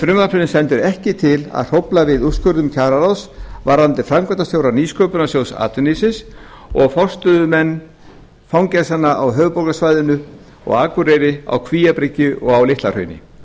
frumvarpinu stendur ekki til að hrófla við úrskurðum kjararáðs varðandi framkvæmdastjóra nýsköpunarsjóðs atvinnulífsins og forstöðumenn fangelsanna á höfuðborgarsvæðinu og akureyri á kvíabryggju og á litla hrauni